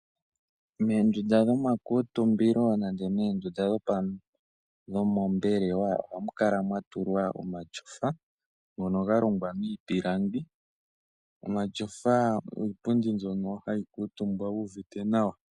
Moondundu dhoma kuutumbilo nenge moondunda dhompelewa ohamu kala mwa tulwa omatyofa ngono ga longwa miipilangi. Omatyofa iipundi mbyono hayi kuutumbwa wu uvite nawa.